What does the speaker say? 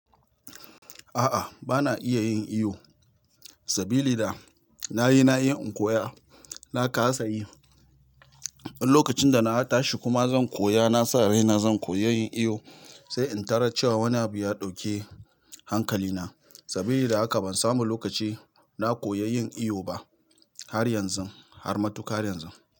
A'a, ba na iya yin iyo sabili da, nayi-nayi in koya, na kasa yi. In lokacin da na tashi kuma zan koya, na sa rai na zan koyi yin iyo, sai in tarar cewa wani abu ya ɗauke hankali na. Sabili da haka ban samu lokaci na koyi yin iyo ba, har yanzun, har matuƙar yanzu.